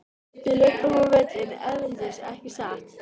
Við löbbum á völlinn erlendis ekki satt?